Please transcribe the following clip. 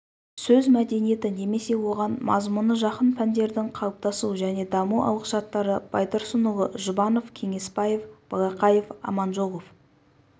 сөз мәдениеті немесе оған мазмұны жақын пәндердің қалыптасу және даму алғышарттары байтұрсынұлы жұбанов кеңесбаев балақаев аманжолов